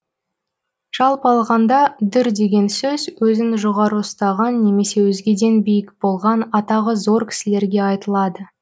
жалпы алғанда дүр деген сөз өзін жоғары ұстаған немесе өзгеден биік болған атағы зор кісілерге айтылады